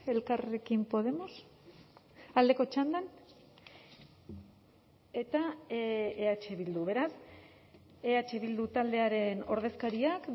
elkarrekin podemos aldeko txandan eta eh bildu beraz eh bildu taldearen ordezkariak